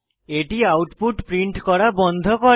এটি output print করা বন্ধ করে